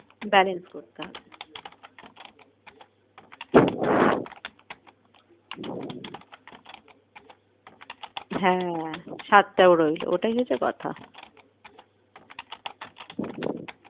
Balance করতে হয় হ্যাঁ স্বাদটাও রইলো ওটাই হচ্ছে কথা।